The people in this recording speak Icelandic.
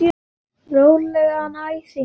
Rólegan æsing, elskan.